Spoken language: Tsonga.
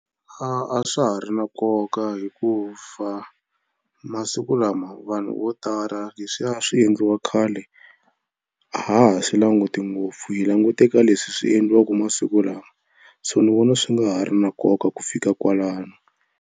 A swa ha ri na nkoka hikuva masiku lama vanhu vo tala leswiya a swi endliwa khale a ha ha swi languti ngopfu hi languta eka leswi swi endliwaka masiku lawa so ni vona swi nga ha ri na nkoka ku fika kwalano.